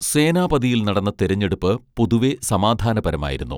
സേനാപതിയിൽ നടന്ന തിരഞ്ഞെടുപ്പ് പൊതുവെ സമാധാനപരമായിരുന്നു